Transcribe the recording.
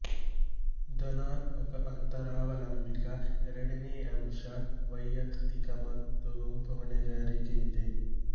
ಧನಾತ್ಮಕ ಅಂತರಾವಲಂಬಿತ ಎರಡನೇ ಅಂಶ ವೈಯಕ್ತಿಕ ಮತ್ತು ಗುಂಪು ಹೊಣೆಗಾರಿಕೆ ಇದೆ